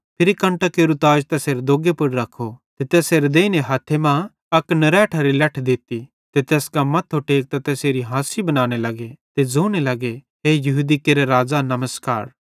फिरी कंटां केरू ताज तैसेरे दोग्गे पुड़ रख्खू ते तैसेरे देइने हथ्थे मां अक नरैठरी लैठ दित्ती ते तैस कां मथ्थो टेकतां तैसेरी हासी बनाने लग्गे ते ज़ोने लग्गे हे यहूदी केरे राज़ा नमस्कार